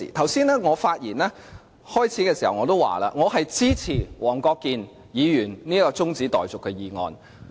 我剛才在發言之初已經說，我支持黃國健議員這項中止待續議案。